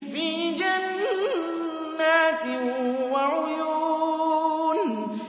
فِي جَنَّاتٍ وَعُيُونٍ